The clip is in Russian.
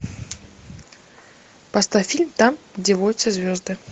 поставь фильм там где водятся звезды